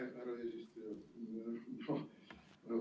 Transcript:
Aitäh, härra eesistuja!